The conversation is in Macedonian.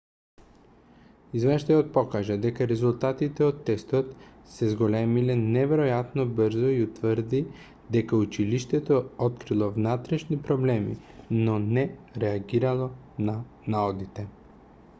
извештајот покажа дека резултатите од тестот се зголемиле неверојатно брзо и утврди дека училиштето открило внатрешни проблеми но не реагирало на наодите